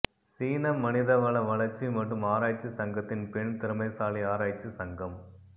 சீன மனித வள வளர்ச்சி மற்றும் ஆராய்ச்சி சங்கத்தின் பெண் திறமைசாலி ஆராய்ச்சி சங்கம்